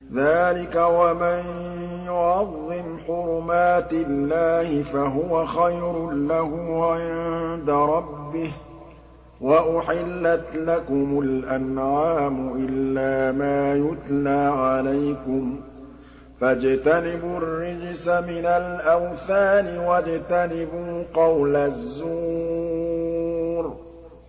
ذَٰلِكَ وَمَن يُعَظِّمْ حُرُمَاتِ اللَّهِ فَهُوَ خَيْرٌ لَّهُ عِندَ رَبِّهِ ۗ وَأُحِلَّتْ لَكُمُ الْأَنْعَامُ إِلَّا مَا يُتْلَىٰ عَلَيْكُمْ ۖ فَاجْتَنِبُوا الرِّجْسَ مِنَ الْأَوْثَانِ وَاجْتَنِبُوا قَوْلَ الزُّورِ